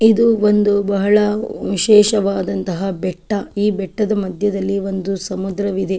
ಇದು ಒಂದು ಬಹಳ ವಿಶೇಷವಾದಂತಹ ಬೆಟ್ಟ ಈ ಬೆಟ್ಟದ ಮಧ್ಯದಲ್ಲಿ ಒಂದು ಸಮುದ್ರವಿದೆ.